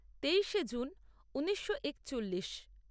তেইশে জুন ঊনিশো একচল্লিশ